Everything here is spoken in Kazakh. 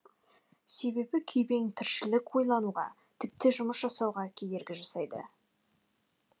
себебі күйбең тіршілік ойлануға тіпті жұмыс жасауға кедергі жасайды